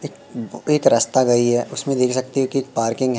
एक बो एक रास्ता गई है। उसमें देख सकते है की एक पार्किंग है।